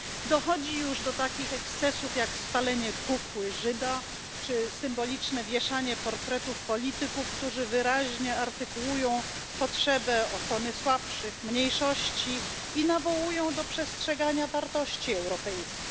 Dochodzi już do takich ekscesów jak spalenie kukły Żyda czy symboliczne wieszanie portretów polityków, którzy wyraźnie artykułują potrzebę ochrony słabszych, mniejszości i nawołują do przestrzegania wartości europejskich.